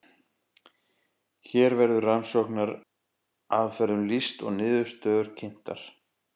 hér verður rannsóknaraðferðum lýst og niðurstöður kynntar